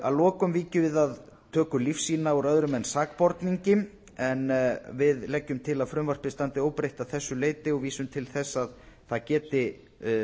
að lokum víkjum við að töku lífsýna úr öðrum en sakborningi en við leggjum til að frumvarpið standi óbreytt að þessu leyti og vísum til þess að það geti